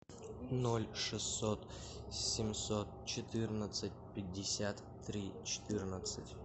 ноль шестьсот семьсот четырнадцать пятьдесят три четырнадцать